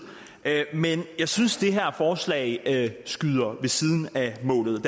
men jeg synes det her forslag skyder ved siden af målet